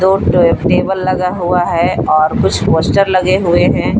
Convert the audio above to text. Photo table लगा हुआ है और कुछ पोस्टर लगे हुए हैं।